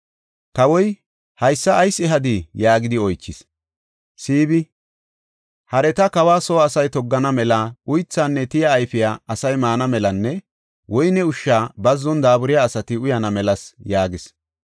Kawoy, “Haysa ayis ehadii?” yaagidi oychis. Siibi, “Hareta, kawa soo asay toggana mela, uythaanne tiyiya ayfiya asay maana melanne woyne ushshay bazzon daaburiya asati uyana melasa” yaagis.